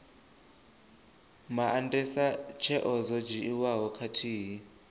maandesa tsheo dzo dzhiiwaho khathihi